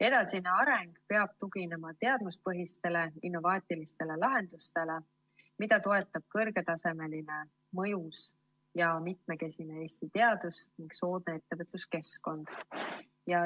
Edasine areng peab tuginema teadmuspõhistele innovaatilistele lahendustele, mida toetab kõrgetasemeline, mõjus ja mitmekesine Eesti teadus ning soodne ettevõtluskeskkond.